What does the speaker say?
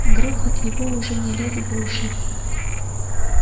грохот его уже не лез в уши